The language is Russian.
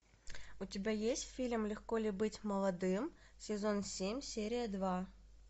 у тебя есть фильм легко ли быть молодым сезон семь серия два